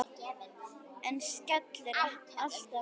Hann skellir alltaf á mann!